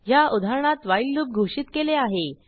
ह्या उदाहरणात while loop घोषित केले आहे